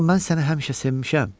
Axı mən səni həmişə sevmişəm.